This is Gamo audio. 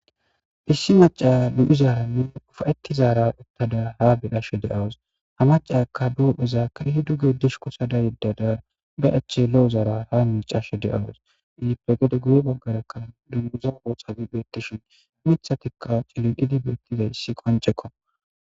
issi maca du7izaaranni ufa7etti zaara uttada ha bedhashe deawus ha macakka doohpheza kaihi duge dishu kosada yeddada ba achche lo7o zaara ha micashe deawus izipegede guye baggarakka dunguza oosafi beettishin mithatikka ciliqidi beettizayssi qoncekko